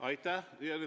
Aitäh!